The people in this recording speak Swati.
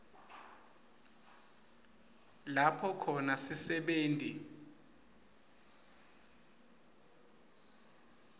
lapho khona sisebenti